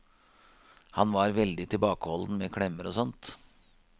Han var veldig tilbakeholden med klemmer og sånt.